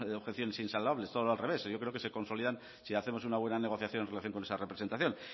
objeciones insalvables todo al revés yo creo que se consolidan si hacemos una buena negociación en relación con ese representación